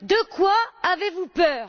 De quoi avez vous peur?